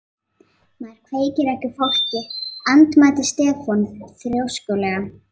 Maður kveikir ekki í fólki, andmælti Stefán þrjóskulega.